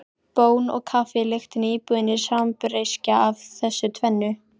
Bón og kaffi lyktin í íbúðinni sambreyskja af þessu tvennu.